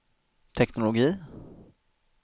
teknologi